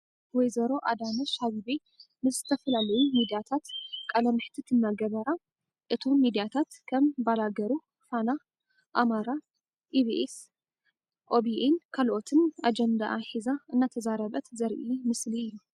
ወ/ሮ ኣዳነሽ ኣበቤ ምስ ዝተፈላለዩ ሚድያታት ቃለ መሕትት እናገበራ እቶም ሚድራታትከም ባላገሩ፣ ፋና፣ ኣማራ ፣ኢቢኤስ፣ ኦቢኤን ካልኦትን ኣጀንድኣ ሒዛ እናተዛረበት ዘርኢ ምስሊ እዩ።